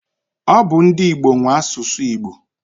Ọ bu ndi Igbo nwe asụsụ Igbo.